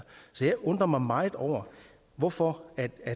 så jeg undrer mig meget over hvorfor